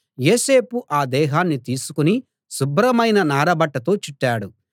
యోసేపు ఆ దేహాన్ని తీసుకుని శుభ్రమైన నారబట్టతో చుట్టాడు